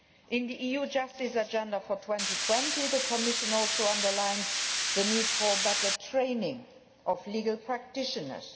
In the EU justice agenda for 2020 the Commission also underlines the need for better training of legal practitioners.